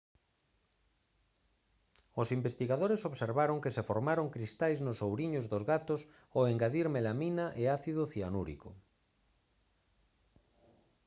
os investigadores observaron que se formaron cristais nos ouriños dos gatos ao engadir melamina e ácido cianúrico